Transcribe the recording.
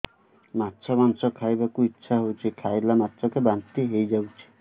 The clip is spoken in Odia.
ମାଛ ମାଂସ ଖାଇ ବାକୁ ଇଚ୍ଛା ହଉଛି ଖାଇଲା ମାତ୍ରକେ ବାନ୍ତି ହେଇଯାଉଛି